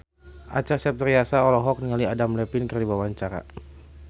Acha Septriasa olohok ningali Adam Levine keur diwawancara